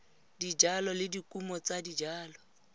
dijalo le dikumo tsa dijalo